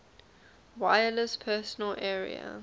wireless personal area